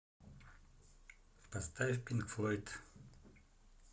поставь пинк флойд